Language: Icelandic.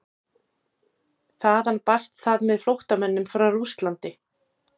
Þaðan barst það með flóttamönnum frá Rússlandi.